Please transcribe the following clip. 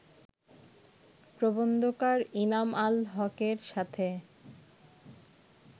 প্রবন্ধকার ইনাম আল হকের সাথে